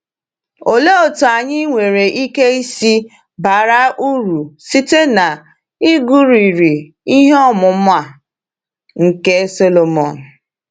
Olee otú anyị nwere ike isi bara uru site n’ịgụrịrị ihe ọmụma nke Sọlọmọn?